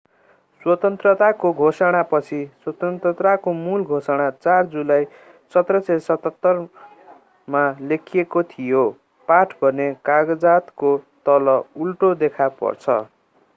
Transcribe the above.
स्वतन्त्रताको घोषणा पछाडि स्वतन्त्रताको मूल घोषणा 4 जुलाई 1776 लेखिएको थियो पाठ भने कागजातको तल उल्टो देखा पर्छ